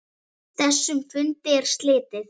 Þessum fundi er slitið.